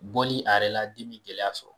Bɔli a yɛrɛ la den bi gɛlɛya sɔrɔ.